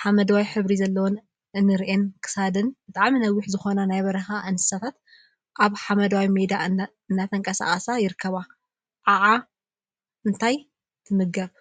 ሓመደዋይ ሕብሪ ዘለዎን እንረንን ክሳደንን ብጣዕሚ ነዊሕ ዝኮና ናይ በረካ እንስሳት አብ ሓመደዋይ ሜዳ እናተንቀሳቀሳ ይርከባ፡፡ ዓዓ እንታይ ትምገብ?